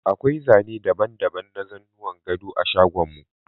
Akwai zane daban-daban na zanuwan gado a shagon mu.